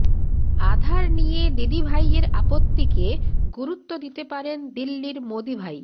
আধার নিয়ে দিদিভাইয়ের আপত্তিকে গুরুত্ব দিতে পারেন দিল্লির মোদীভাই